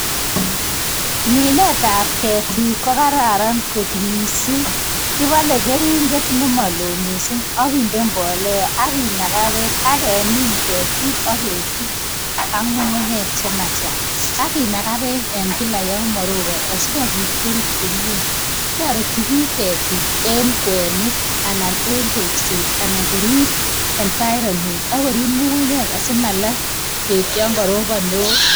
Minetab ketik ko Kararan kot mising kibole keringet nemoloo mising ak kinde mbolea ak kinaga bek ak kemin ketik ak ketub ak ngungunyek Che ma Chang ak kinaga bek kila yon moroboni asikobit korut komie toreti bik ketik en kwenik anan en tekset anan korib environment ak korib ngungunyek asi malaaa bek yon karobon neo